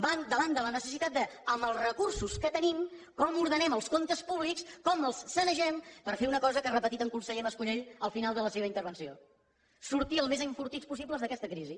va davant de la necessitat de dir amb els recursos que tenim com ordenem els comptes públics com els sanegem per fer una cosa que ha repetit el conseller mas colell al final de la seva intervenció sortir el més enfortits possible d’aquesta crisi